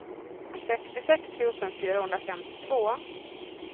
sextiosex tusen fyrahundrafemtiotvå